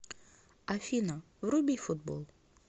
афина вруби футбол